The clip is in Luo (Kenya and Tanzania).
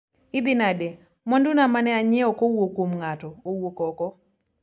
idhi nade, mwandu na mane anyiewo kowuok kuom ng'ato owuok oko